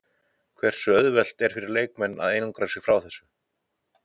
Hversu auðvelt er fyrir leikmennina að einangra sig frá þessu?